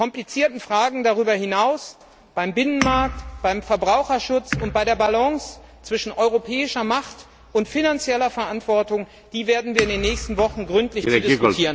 Die komplizierten Fragen darüber hinaus beim Binnenmarkt, beim Verbraucherschutz und bei der Balance zwischen europäischer Macht und finanzieller Verantwortung werden wir in den nächsten Wochen gründlich zu diskutieren haben.